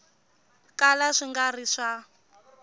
kala swi nga ri swa